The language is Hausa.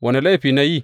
Wane laifi ne na yi?